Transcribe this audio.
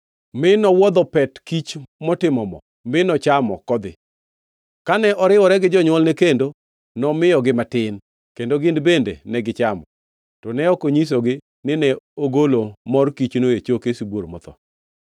mi nowuodho pet kiny motimo mo, mi nochamo kodhi. Kane oriwore gi jonywolne kendo, nomiyogi matin, kendo gin bende negichamo. To ne ok onyisogi nine ogolo mor kichno e choke sibuor motho.